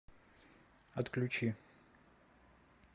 отключи